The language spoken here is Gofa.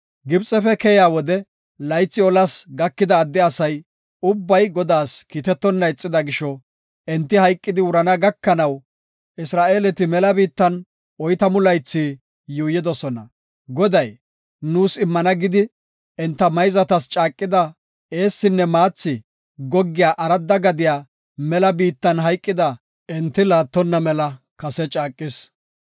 Gibxefe keyiya wode laythi olas gakida adde asa ubbay Godaas kiitetonna ixida gisho, enti hayqidi wurana gakanaw Isra7eeleti mela biittan oytamu laythi yuuyidosona. Goday, nuus immana gidi enta mayzatas caaqida eessinne maathi goggiya aradda biittaa hayqida enta nayti laattonna mela kase caaqis.